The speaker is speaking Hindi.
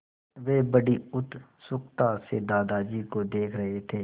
वे बड़ी उत्सुकता से दादाजी को देख रहे थे